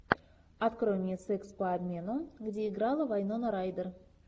открой мне секс по обмену где играла вайнона райдер